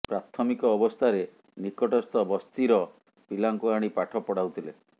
ପ୍ରାଥମିକ ଅବସ୍ଥାରେ ନିକଟସ୍ଥ ବସ୍ତିର ପିଲାଙ୍କୁ ଆଣି ପାଠ ପଢାଉଥିଲେ